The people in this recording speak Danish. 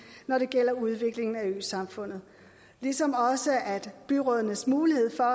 når det gælder udvikling af øsamfundet ligesom også byrådenes mulighed for